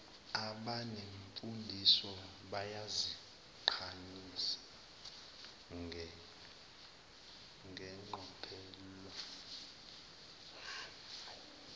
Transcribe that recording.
abanemfundiso bayaziqhayisa ngeqophelo